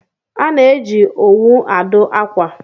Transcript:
A na-eji owu adụ akwa